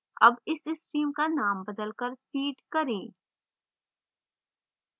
अब इस stream का name बदलकर feed करें